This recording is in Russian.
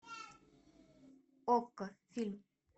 окко фильм